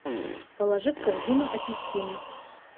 положи в корзину апельсины